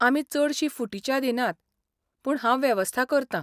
आमी चडशी फुटी च्या दिनात, पूण हांव वेवस्था करतां.